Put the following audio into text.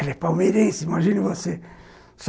Ela é palmeirense, imagine você.